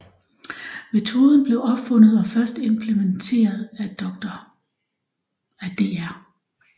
Metoden blev opfundet og først implementeret af Dr